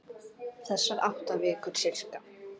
Þessar átta vikur, sirka.